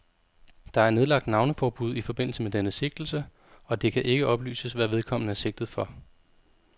Der er nedlagt navneforbud i forbindelse med denne sigtelse, og det kan ikke oplyses, hvad vedkommende er sigtet for.